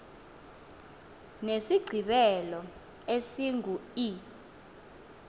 nesigqibelo esingu e